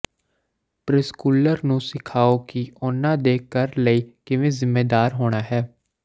preschooler ਨੂੰ ਸਿਖਾਓ ਕਿ ਉਹਨਾਂ ਦੇ ਘਰ ਲਈ ਕਿਵੇਂ ਜ਼ਿੰਮੇਵਾਰ ਹੋਣਾ ਹੈ